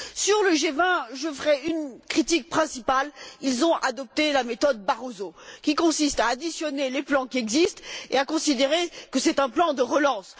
Sur le G20, je ferai une critique principale ils ont adopté la méthode Barroso, qui consiste à additionner les plans qui existent et à considérer que c'est un plan de relance.